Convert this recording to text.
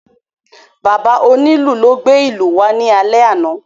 Bàbá onílù ló gbé ìlú wá ní alè àna